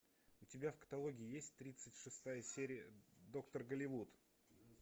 у тебя в каталоге есть тридцать шестая серия доктор голливуд